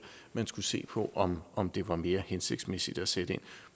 man skulle se på om om det var mere hensigtsmæssigt at sætte ind